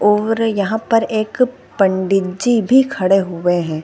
और यहाँ पर एक पंडित जी भी खड़े हुए हैं ।